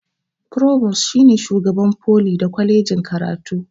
forubus shine shugaban foli da kwalejin karatu